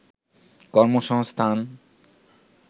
কর্মসংস্থান